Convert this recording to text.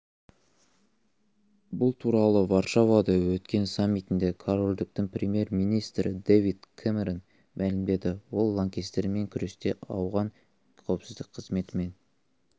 бұл туралы варшавада өткен саммитінде корольдіктің премьер-министрі дэвид кэмерон мәлімдеді ол лаңкестермен күресте ауған қауіпсіздік қызметімен